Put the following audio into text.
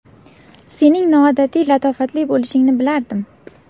Sening noodatiy latofatli bo‘lishingni bilardim.